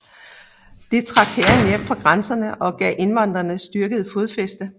Det trak hæren hjem fra grænserne og gav invaderende styrker fodfæste